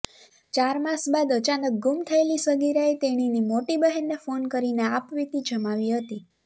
ચાર માસ બાદ અચાનક ગુમ થયેલી સગીરાએ તેણીને મોટી બહેનને ફોન કરીને આપવીતી જમાવી હતી